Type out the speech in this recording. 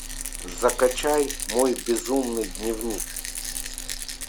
закачай мой безумный дневник